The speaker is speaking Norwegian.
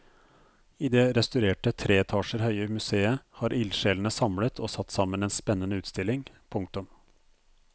I det restaurerte tre etasjer høye museet har ildsjelene samlet og satt sammen en spennende utstilling. punktum